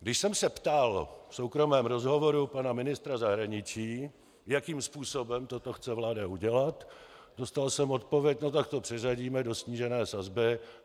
Když jsem se ptal v soukromém rozhovoru pana ministra zahraničí, jakým způsobem toto chce vláda udělat, dostal jsem odpověď: No tak to přeřadíme do snížené sazby.